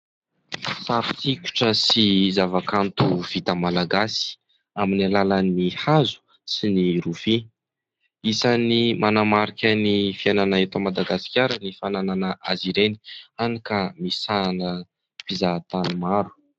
Sary sikotra sy zava-kanto vita Malagasy amin'ny alalan'ny hazo sy ny rofia. Isany manamarika ny fiainana eto Madagasikara ny fananana azy ireny hany ka misahana mpizaha tany maro.